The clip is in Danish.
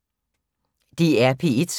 DR P1